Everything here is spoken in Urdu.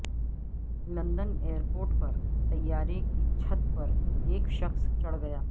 لندن ایئرپورٹ پر طیارے کی چھت پر ایک شخص چڑھ گیا